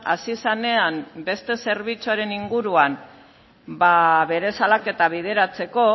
hasi zenean beste zerbitzuaren inguruan bere salaketa bideratzeko